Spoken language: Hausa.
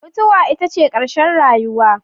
Mutuwa ita ce ƙarshen rayuwa